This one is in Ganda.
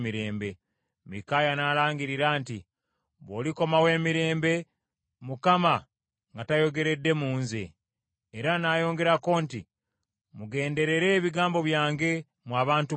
Mikaaya n’alangirira nti, “Bw’olikomawo emirembe, Mukama nga tayogeredde mu nze.” Era n’ayongerako nti, “Mugenderere ebigambo byange, mmwe abantu mwenna.”